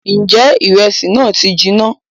Ǹjẹ́ ìrẹsì náà ti jinná?